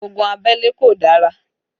Ogun abẹ́lé kò dára